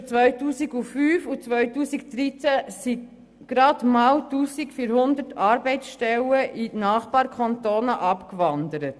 Zwischen 2005 und 2013 sind gerade mal 1400 Arbeitsstellen in die Nachbarkantone abgewandert.